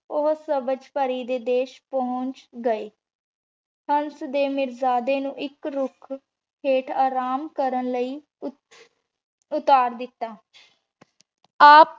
ਊ ਸਬਝ ਪਾਰੀ ਦੇ ਦੇਸ਼ ਪੋਹੰਚ ਗਾਯ ਹੰਸ ਤੇ ਮਿਰ੍ਜ਼ਾਡੀ ਨੂ ਹਿਕ ਰੁਖ ਹੇਠ ਆਰਾਮ ਕਰਨ ਲੈ ਉਤ ਉਤਾਰ ਦਿਤਾ ਆਪ